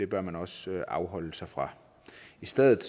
bør man også afholde sig fra i stedet